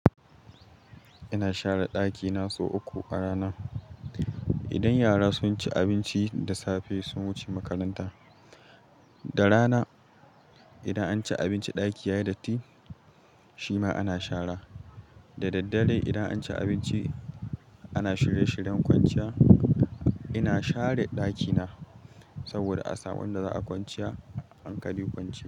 Ina share dakina sau uku a rana. Idan yara sun ci abinci da safe sun wuce makaranta. Da rana, idan an ci abinci ɗaki yayi datti shima ana share. Da daddare idan an ci abinci ana shirye-shiryen kwanciya ina share dakina saboda a saƙon da za'a kwanciya hankali kwanciya.